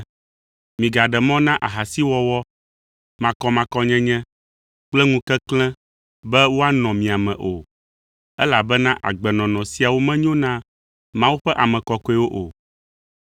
Migaɖe mɔ na ahasiwɔwɔ, makɔmakɔnyenye kple ŋukeklẽ be woanɔ mia me o, elabena agbenɔnɔ siawo menyo na Mawu ƒe ame kɔkɔewo o.